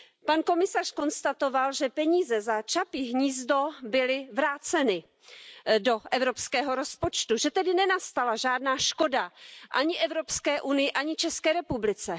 Pan komisař konstatoval, že peníze za Čapí hnízdo byly vráceny do evropského rozpočtu, že tedy nenastala žádná škoda ani EU, ani České republice.